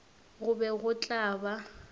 go be go tla ba